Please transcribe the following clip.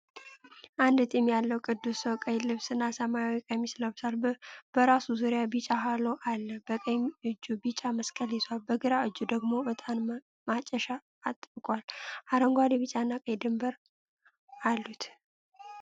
አንድ ጢም ያለው ቅዱስ ሰው ቀይ ልብስ እና ሰማያዊ ቀሚስ ለብሷል። በራሱ ዙሪያ ቢጫ ሃሎ አለ፤ በቀኝ እጁ ቢጫ መስቀል ይዟል፣ በግራ እጁ ደግሞ እጣን ማጨሻ አጥብቋል። አረንጓዴ፣ ቢጫና ቀይ ድንበር አሉት።